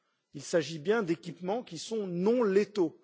Il s'agit bien d'équipements qui sont non létaux.